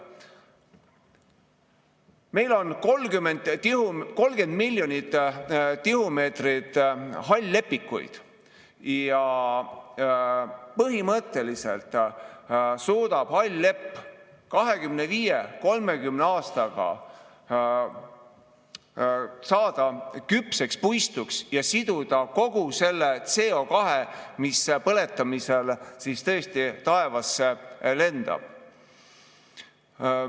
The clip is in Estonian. Meil on 30 miljonit tihumeetrit hall-lepikuid ja põhimõtteliselt suudab hall lepp 25–30 aastaga saada küpseks puistuks ja siduda kogu selle CO2, mis põletamisel tõesti taevasse lendab.